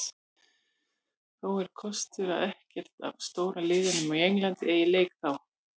Þó er kostur að ekkert af stóru liðunum á Englandi eiga leik þá.